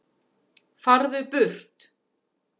FARÐU BURT